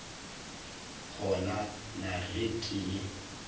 kgona na ge ke le